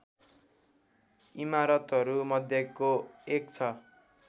इमारतहरू मध्येको एक छ